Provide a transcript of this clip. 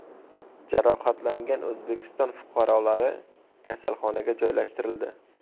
Jarohatlangan O‘zbekiston fuqarolari kasalxonaga joylashtirildi.